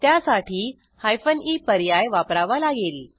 त्यासाठी हायफेन ई पर्याय वापरावा लागेल